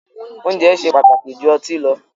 Oúnjẹ ṣe pàtàkì jù ọtí lọ